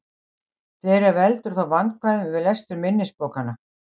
Fleira veldur þó vandkvæðum við lestur minnisbókanna.